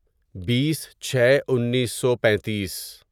بیس چھے انیسو پینتیس